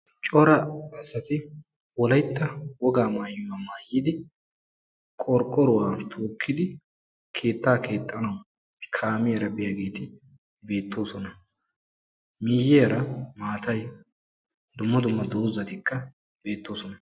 cora asati wolaytta woga maayuwaa maayidi qorqqoruwa tookidi keettaa keexxanawu kaamiyara biyaageti beetoososna. Miyiiyaa maatay dumma dumma dozatikka beetoosona.